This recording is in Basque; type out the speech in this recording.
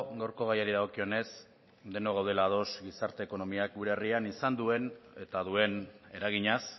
gaurko gaiari dagokionez denok gaudela ados gizarte ekonomiak gure herrian izan duen eta duen eraginaz